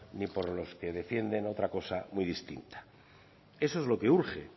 ni por los que defienden otra cosa muy distinta eso es lo que urge